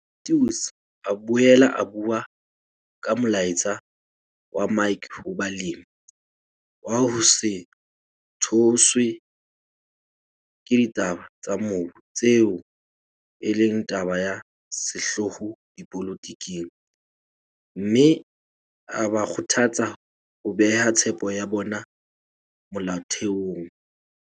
Mathews a boela a bua ka molaetsa wa Mike ho balemi, wa ho se tshoswe ke ditaba tsa mobu tseo e leng taba ya sehlooho dipolotiking, mme a ba kgothatsa ho beha tshepo ya bona molaotheong.